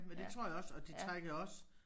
Men det tror jeg også og de trækker jo også